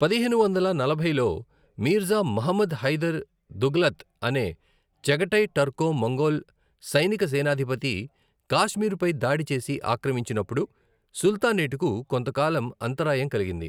పదిహేను వందల నలభైలో మీర్జా ముహమ్మద్ హైదర్ దుగ్లత్ అనే చగటై టర్కో మంగోల్ సైనిక సేనాధిపతి కాశ్మీరుపై దాడి చేసి ఆక్రమించినప్పుడు సుల్తానేట్కు కొంతకాలం అంతరాయం కలిగింది.